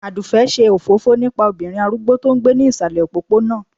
aduke ṣe òfófó nípà obirin arúgbó to n gbé ni ìsàlè òpóponà